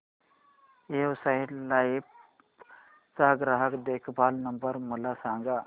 Exide life चा ग्राहक देखभाल नंबर मला सांगा